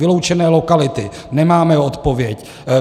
Vyloučené lokality - nemáme odpověď.